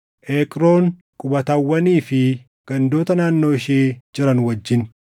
Eqroon, qubatawwanii fi gandoota naannoo ishee jiran wajjin,